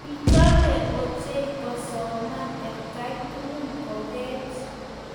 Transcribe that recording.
Kichome ochei kosoman atkai tugul kokeech.